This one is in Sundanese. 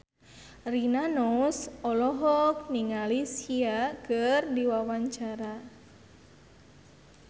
Rina Nose olohok ningali Sia keur diwawancara